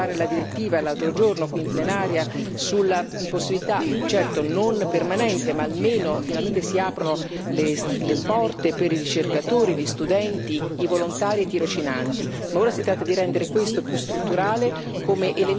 Vorrei ricordare anche che è stato importante, per esempio, approvare la direttiva, l'altro giorno qui in plenaria, sulla possibilità, certo non permanente, ma almeno finalmente si aprono le porte per i ricercatori, gli studenti, i volontari e i tirocinanti.